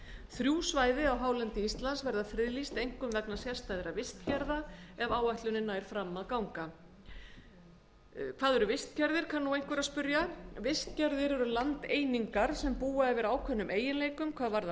þrjú svæði á hálendi íslands verða friðlýst einkum vegna sérstæðra vistgerða ef áætlunin nær fram að ganga hvað eru vistgerðir kann nú einhver að spyrja vistgerðir eru landeiningar sem búa yfir ákveðnum eiginleikum hvað varðar